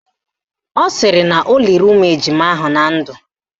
Ọ sịrị na o liri ụmụ ejima ahụ na ndụ